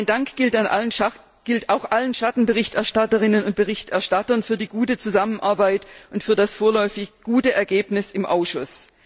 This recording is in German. Mein Dank gilt auch allen Schattenberichterstatterinnen und berichterstattern für die gute Zusammenarbeit und für das vorläufig gute Ergebnis im Ausschuss.